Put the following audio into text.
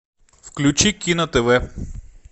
включи кино тв